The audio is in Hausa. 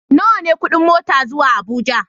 Nawa ne kuɗin mota zuwa Abuja?